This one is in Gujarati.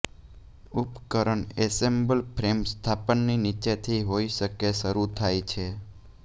ઉપકરણ એસેમ્બલ ફ્રેમ સ્થાપનની નીચેથી હોઈ શકે શરૂ થાય છે